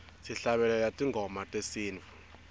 sihlabelela tingoma tesintfu